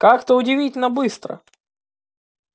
как-то удивительно быстро